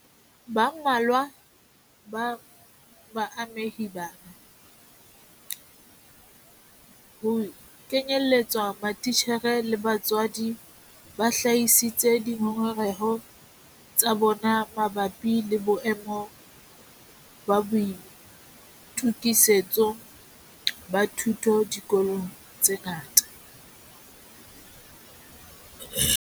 Ba mmalwa ba baamehi bana - ho kenyeletswa matitjhere le batswadi - ba hlahisitse dingongoreho tsa bona mabapi le boemo ba boitokisetso ba thuto dikolong tse ngata.